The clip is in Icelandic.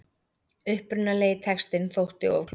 Upprunalegi textinn þótti of klúr